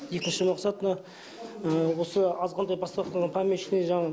екінші мақсат мына осы азғантай бастап қойған помещание жағын